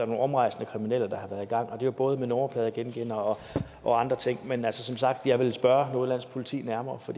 nogle omrejsende kriminelle der har været i gang og det er jo både med nummerpladegenkendere og andre ting men som sagt jeg vil spørge nordjyllands politi nærmere for